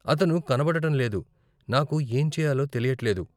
అతను కనపడటం లేదు, నాకు ఏం చెయ్యాలో తెలియట్లేదు.